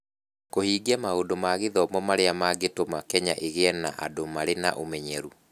Kũhingia maũndũ ma gĩthomo marĩa mangĩtũma Kenya ĩgĩe na andũ marĩ na ũmenyeru.